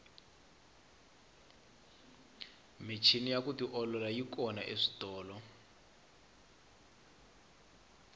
michini ya ku tiolola yi kona eswitolo